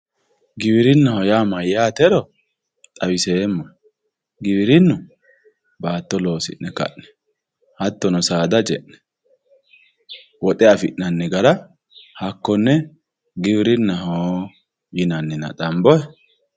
giwirinnaho yaa mayyaatero xawiseemmohe giwirinnu baatto loosi'ne ka'ne hattono saada ce'ne woxe afi'nanni gara hakkonne giwirinnaho yinannina xambohe?